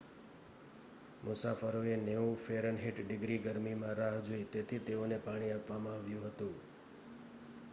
મુસાફરોએ 90 ફે. - ડિગ્રી ગરમીમાં રાહ જોઈ તેથી તેઓને પાણી આપવામાં આવ્યું હતું